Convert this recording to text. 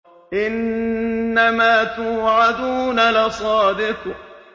إِنَّمَا تُوعَدُونَ لَصَادِقٌ